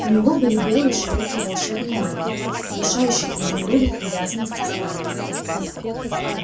у него были белые широкие волшебные руки внушающие изумруду привязанность и страх